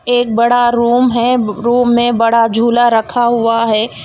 एक बड़ा रूम है रूम में बड़ा झूला रखा हुआ है.